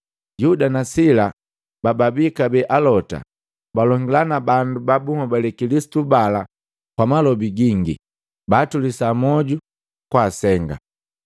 Yuda na Sila, bababi kabee alota, balongila na bandu ba bunhobali Kilisitu bala kwa malobi gingi tulisa mwoju na kwaasenga.